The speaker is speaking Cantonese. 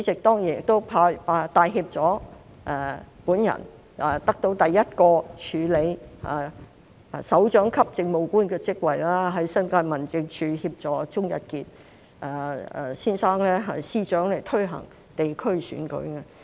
當年亦帶挈我得到第一個署理首長級政務官的職位，在新界民政處協助鍾逸傑司長推行地區選舉。